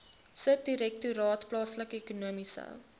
subdirektoraat plaaslike ekonomiese